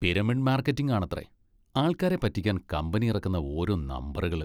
Pyramid marketing ആണത്രേ! ആൾക്കാരെ പറ്റിക്കാൻ കമ്പനി ഇറക്കുന്ന ഓരോ നമ്പറുകൾ!